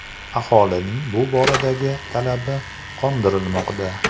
Aholining bu boradagi talabi qondirilmoqda.